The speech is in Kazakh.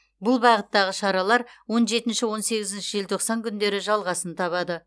бұл бағыттағы шаралар он жетінші он сегізінші желтоқсан күндері жалғасын табады